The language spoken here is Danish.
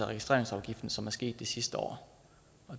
registreringsafgiften som er sket det sidste år